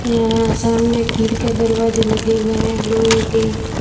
यहां सामने खिड़कियाँ दरवाजे लगे हुए है लोहे के।